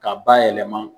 K'a bayɛlɛma